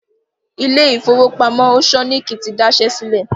Ilé ìfowópamọ́ Òṣọ́níkí ti daṣẹ́ sílẹ̀